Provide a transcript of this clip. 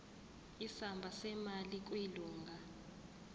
isamba semali kwilunga